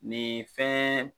Nin fɛn.